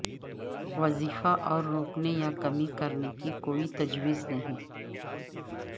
وظیفہ روکنے یا کمی کرنے کی کوئی تجویز نہیں